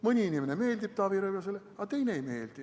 Mõni inimene meeldib Taavi Rõivasele, aga teine ei meeldi.